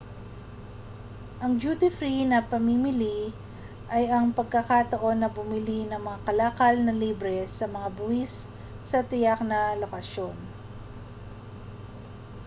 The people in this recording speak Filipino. ang duty free na pamimili ay ang pagkakataon na bumili ng mga kalakal na libre sa mga buwis sa tiyak na mga lokasyon